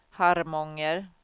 Harmånger